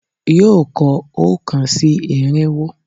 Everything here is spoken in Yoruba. Yóò kọ oókan sí irínwó